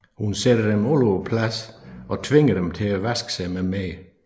Hun sætter dem alle tre på plads og tvinger dem til at vaske sig med mere